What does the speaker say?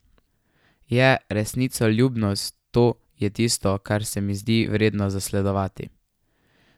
Je resnicoljubnost, to je tisto, kar se mi zdi vredno zasledovati.